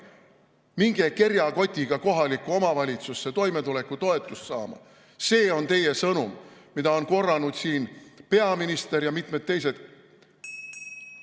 Minge kerjakotiga kohalikku omavalitsusse toimetulekutoetust saama – see on teie sõnum, mida on siin korranud peaminister ja mitmed teised.